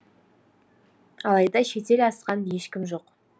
алайда шетел асқан ешкім жоқ